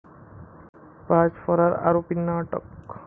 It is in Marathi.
पाच फरार आरोपींना अटक